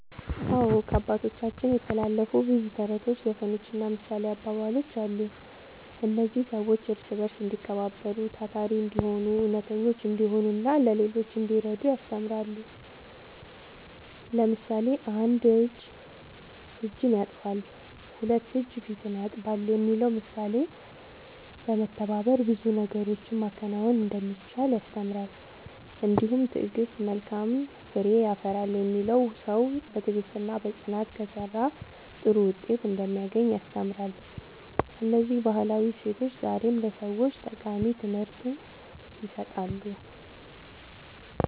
አዎ፣ ከአባቶቻችን የተላለፉ ብዙ ተረቶች፣ ዘፈኖችና ምሳሌያዊ አባባሎች አሉ። እነዚህ ሰዎች እርስ በርስ እንዲከባበሩ፣ ታታሪ እንዲሆኑ፣ እውነተኞች እንዲሆኑና ለሌሎች እንዲረዱ ያስተምራሉ። ለምሳሌ፣ ‘አንድ እጅ እጅን ያጥባል፣ ሁለት እጅ ፊትን ያጥባል’ የሚለው ምሳሌ በመተባበር ብዙ ነገሮችን ማከናወን እንደሚቻል ያስተምራል። እንዲሁም ‘ትዕግሥት መልካም ፍሬ ያፈራል’ የሚለው ሰው በትዕግሥትና በጽናት ከሠራ ጥሩ ውጤት እንደሚያገኝ ያስተምራል። እነዚህ ባህላዊ እሴቶች ዛሬም ለሰዎች ጠቃሚ ትምህርት ይሰጣሉ።"